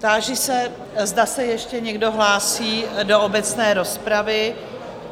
Táži se, zda se ještě někdo hlásí do obecné rozpravy?